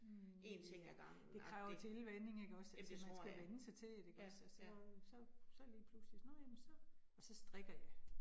Hm ja, det kræver tilvænning ikke også, altså man skal vænne sig til det ikke også altså så, så lige pludselig nåh jamen så og så strikker jeg